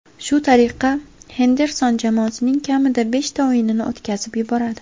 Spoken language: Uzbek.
Shu tariqa Henderson jamoasining kamida beshta o‘yinini o‘tkazib yuboradi.